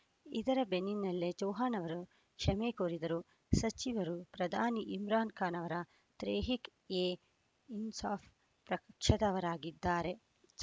ಇದರ ಬೆನ್ನಿನಲ್ಲೇ ಚೌಹಾಣ್‌ ಅವರು ಕ್ಷಮೆ ಕೋರಿದ್ದರು ಸಚಿವರು ಪ್ರಧಾನಿ ಇಮ್ರಾನ್‌ ಖಾನ್‌ ಅವರ ತೆಹ್ರೀಕ್‌ ಎ ಇನ್ಸಾಫ್‌ ಪಕ್ಷದವರಾಗಿದ್ದಾರೆ